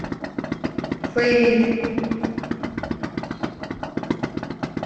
фейри